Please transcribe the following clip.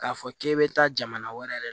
K'a fɔ k'e bɛ taa jamana wɛrɛ